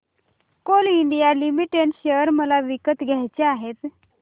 Coal India Limited share मला विकत घ्यायचे आहेत